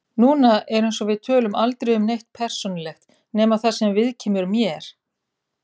Núna er eins og við tölum aldrei um neitt persónulegt nema það sem viðkemur mér.